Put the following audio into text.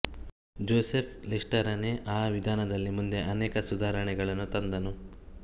Joseph ಲಿಸ್ಟರನೇ ಆ ವಿಧಾನದಲ್ಲಿ ಮುಂದೆ ಅನೇಕ ಸುಧಾರಣೆಗಳನ್ನು ತಂದನು